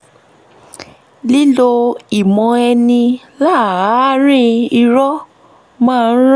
lílo ìmọ̀ ẹni láàárín irọ̀ máa ń ran